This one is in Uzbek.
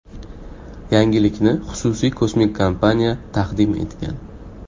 Yangilikni xususiy kosmik kompaniya taqdim etgan.